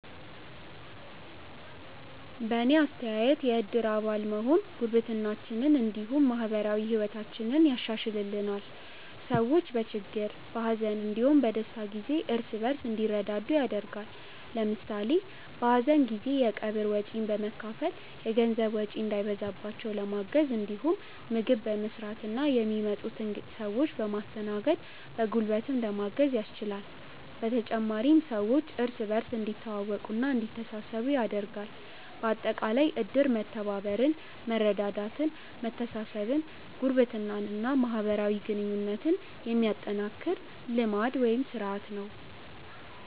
በእኔ አስተያየት የእድር አባል መሆን ጉርብትናችንን እንዲሁም ማህበራዊ ህይወታችንን ያሻሻሽልልናል። ሰዎች በችግር፣ በሀዘን እንዲሁም በደስታ ጊዜ እርስ በእርስ እንዲረዳዱ ያደርጋል። ለምሳሌ በሀዘን ጊዜ የቀብር ወጪን በመካፈል የገንዘብ ወጪ እንዳይበዛባቸው ለማገዝ እንዲሁም ምግብ በመስራትና የሚመጡትን ሰዎች በማስተናገድ በጉልበትም ለማገዝ ያስችላል። በተጨማሪም ሰዎች እርስ በእርስ እንዲተዋወቁና እንዲተሳሰቡ ያደርጋል። በአጠቃላይ እድር መተባበርን፣ መረዳዳትን፣ መተሳሰብን፣ ጉርብትናን እና ማህበራዊ ግንኙነትን የሚያጠናክር ልማድ (ስርአት) ነው።